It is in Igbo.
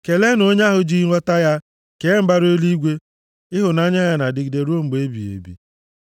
Keleenụ onye ahụ ji nghọta ya kee mbara eluigwe niile, Ịhụnanya ya na-adịgide ruo mgbe ebighị ebi.